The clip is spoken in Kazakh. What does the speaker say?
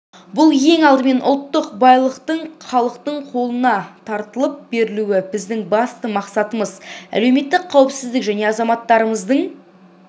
бұл ең алдымен ұлттық байлықтың халықтың қолына таратылып берілуі біздің басты мақсатымыз әлеуметтік қауіпсіздік және азаматтарымыздың